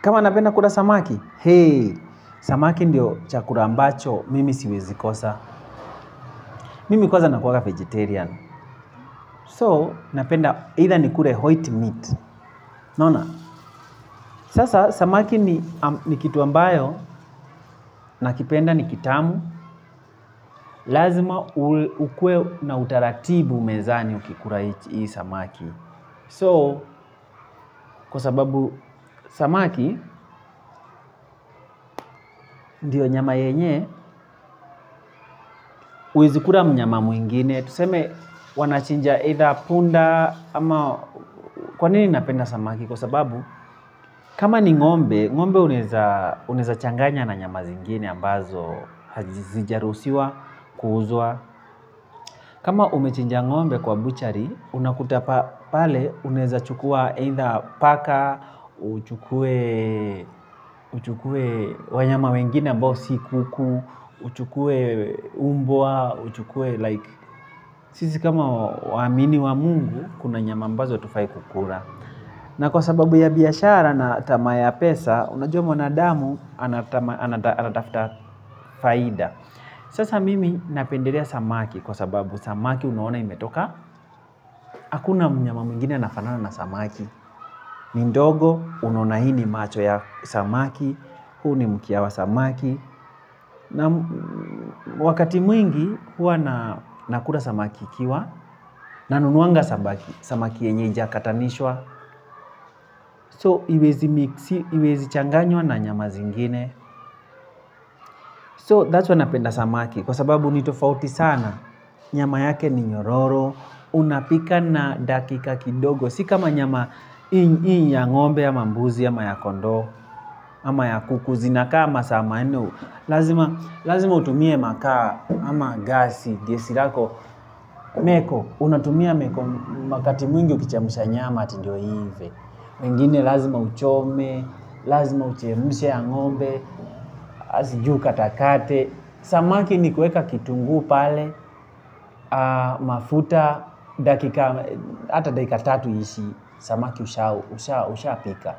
Kama napenda kula samaki, hee, samaki ndiyo chakula ambacho mimi siwezi kukosa. Mimi kwanza nakuanga vegetarian. So, napenda, either ni kule white meat. Unaona? Sasa samaki ni kitu ambacho, nakipenda, nikitamu. Lazima uwe na utaratibu mezani ukila hii samaki. So, kwa sababu samaki, ndiyo nyama yenye, huwezi kula mnyama mwingine. Tuseme wanachinja either punda ama, kwa nini napenda samaki? kKwa sababu, kama ni ng'ombe, ng'ombe unaweza kuchanganya na nyama zingine ambazo hazijaruhusiwa kuuzwa. Kama umechinja ng'ombe kwa buchari, unakuta pale unaweza kuchukua either paka, uchukue wanyama wengine ambao si kuku, uchukue mbwa, uchukue like, sisi kama waumini wa Mungu kuna nyama ambazo hatufai kula, na kwa sababu ya biashara na tamaa ya pesa, unajua mwanadamu. Anatafuta faida. Sasa mimi napendelea samaki kwa sababu samaki unaona ametoka. Hakuna nyama nyingine inayofanana na samaki. Ni ndogo, unaona macho ya samaki, huu ni mkia wa samaki, na wakati mwingi huwa nakula samaki ikiwa, nanuunuanga samaki ambaye ameketanishwa So haiwezi kuchanganywa na nyama zingine. So that's why napenda samaki. Kwa sababu ni tofauti sana. Nyama yake ni nyororo. Unapika na dakika kidogo. Si kama nyama ya ng'ombe, ya mbuzi, ya kondoo, ama ya kuku zinakaa masaa manne. Lazima utumie makaa ama gesi yako. Meko unatumia wakati mwingi ukuchemsha nyama, ati ndiyo hivyo. Mengine lazima uchome, lazima uchemshe ya ngombe, sijui ukatakate. Samaki ni kuweka kitunguu pale, mafuta, hata dakika tatu haiishi, samaki ushapika.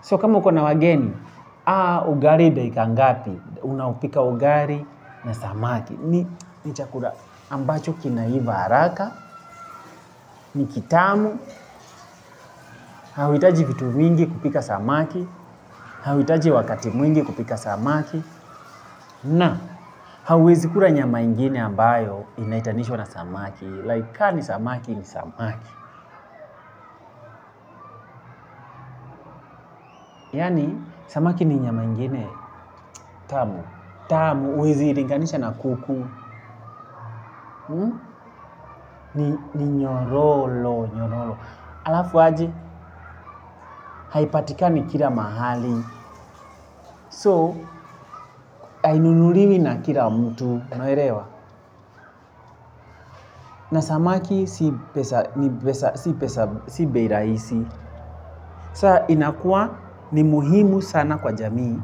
So kama ukona wageni, ugali dakika ngapi. Unaupika ugali na samaki. Ni chakula ambacho kinaiva haraka, ni kitamu, hauhitaji vitu vingi kupika samaki, hauhitaji wakati mwingi kupika samaki. Na, hauwezi kula nyama ingine ambayo inaitanishwa na samaki Like ka ni samaki ni samaki. Yaani, samaki ni nyama ingine, tamu, tamu, huwezi ilinganisha na kuku. Ni nyororo, nyororo halafu aje haipatikani kila mahali So, hainunuliwi na kila mtu, unaelewa. Na samaki si pesa, ni pesa, si pesa, si bei rahisi. Saa inakuwa ni muhimu sana kwa jamii.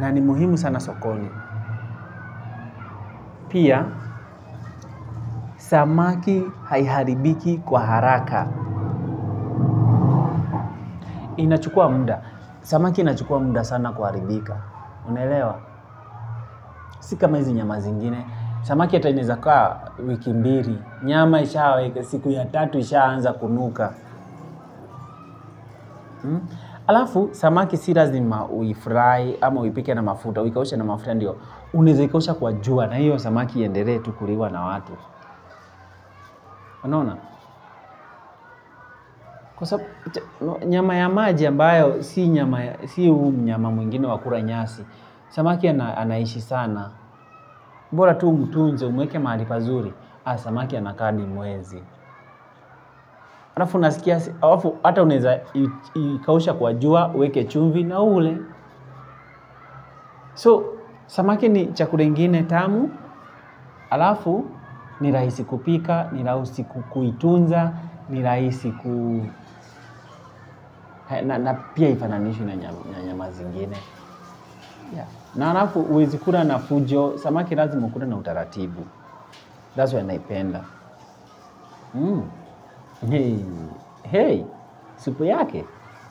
Na ni muhimu sana sokoni. Pia, samaki haiharibiki kwa haraka. Inachukua muda. Samaki inachukua muda sana kuharibika. Unaelewa si kama hizi nyama zingine samaki hata inaweza kaa wiki mbili. Nyama ishawe, siku ya tatu isha anza kunuka. Halafu, samaki si lazima uifry ama uipike na mafuta. Uikaushe na mafuta ndio, unaeza ikausha kwa jua na hiyo samaki iendelee tu kuliwa na watu. Unaona? Kwa, nyama ya maji mbayo, si nyama si huu mnyama mwingine wa kula nyasi. Samaki anaishi sana. Bora tu umtunze, umweke mahali pazuri, haa samaki anakaa hadi mwezi. Hata unaeza ikausha kwa jua, uweke chumvi na ule. So, samaki ni chakula ingine tamu, halafu, ni rahisi kupika, nirahisi kuitunza, ni rahisi kuu na pia hifananishwi na nyama zingine na halafu huwezi kula na fujo samaki lazima ukule na utaratibu that's why naipenda hey supu yake.